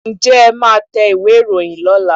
Ǹjẹ́ ẹ máa tẹ ìwé ìròyìn lọ́la?